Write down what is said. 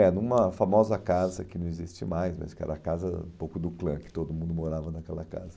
É, numa famosa casa que não existe mais, mas que era a casa um pouco do clã, que todo mundo morava naquela casa.